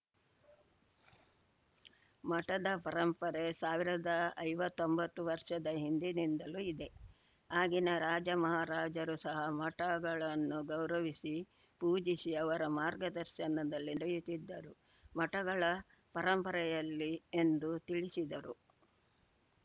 ಮಠದ ಪರಂಪರೆ ಸಾವಿರದ ಐವತ್ತೊಂಬತ್ತು ವರ್ಷದ ಹಿಂದಿನಿಂದಲೂ ಇದೆ ಆಗಿನ ರಾಜಮಹಾರಾಜರು ಸಹ ಮಠಗಳನ್ನು ಗೌರವಿಸಿ ಪೂಜಿಸಿ ಅವರ ಮಾರ್ಗದರ್ಶನದಲ್ಲಿ ನಡೆಯುತ್ತಿದ್ದು ಮಠಗಳ ಪರಂಪರೆಯಲ್ಲಿ ಎಂದು ತಿಳಿಸಿದರು